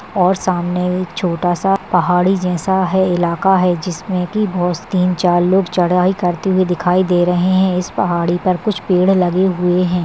और सामने एक छोटा सा पहाड़ी जैसा है इलाका है जिसमें की बहु तीन चार लोग चढ़ाई करते हुए दिखाई दे रहे हैं इस पहाड़ी पर कुछ पेड़ लगे हुए हैं।